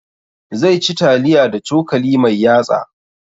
Zai ci taliya da cokali mai yatsa